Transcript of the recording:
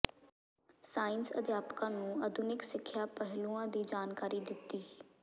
science ਅਧਿਆਪਕਾਂ ਨੂੰ ਆਧੁਨਿਕ ਸਿੱਖਿਆ ਪਹਿਲੂਆਂ ਦੀ ਜਾਣਕਾਰੀ ਦਿੱਤੀ